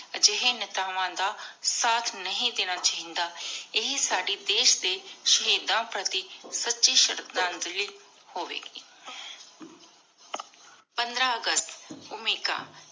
ਏਹੀ ਜਾਏ ਨੇਤਾਵਾਂ ਦਾ ਸਾਥ ਨਹੀ ਦੇਣਾ ਚਾਹੀ ਇਹੀ ਸਾਡੀ ਦੇਸ਼ ਦੇ ਸ਼ਹੀਦਾਂ ਪਾਰਟੀ ਸੂਚੀ ਸ਼ਰਧਾ ਹੋਵੀ ਗੀ ਪੰਦ੍ਰ ਅਗਸਤ ਓਮਿਕਾ